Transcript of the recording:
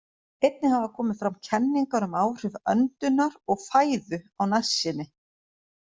Einnig hafa komið fram kenningar um áhrif öndunar og fæðu á nærsýni.